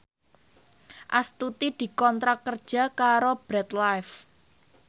Astuti dikontrak kerja karo Bread Life